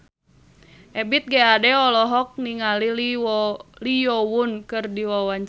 Ebith G. Ade olohok ningali Lee Yo Won keur diwawancara